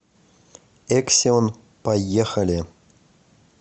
эксион поехали